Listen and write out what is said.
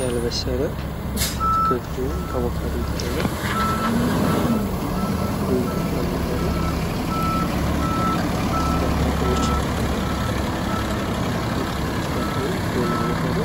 ያልበሰለ አትክልት ወይም አቡካዶ ይታያል ።እና ይህ አቡካዶ ከአትክልትና ፍራፍሬዎች የሚመደበው አትክልትና ፍራፍሬ ወይም አቡካዶ